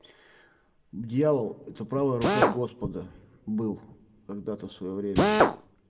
дьявол это правая рука господа был когда-то в своё время